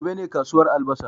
Gobe ne ranar kasuwar albasa